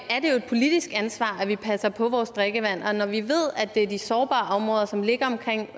politisk ansvar at vi passer på vores drikkevand og når vi ved at det er de sårbare områder som ligger omkring